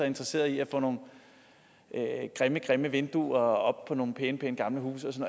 interesseret i at få nogle grimme grimme vinduer op på nogle pæne gamle huse